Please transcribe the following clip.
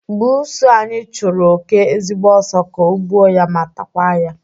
Buusu anyi chụrụ oke ezigbo ọsọ ka o gbuo ya ma takwa ya